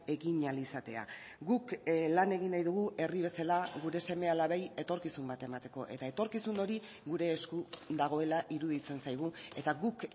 egin ahal izatea guk lan egin nahi dugu herri bezala gure seme alabei etorkizun bat emateko eta etorkizun hori gure esku dagoela iruditzen zaigu eta guk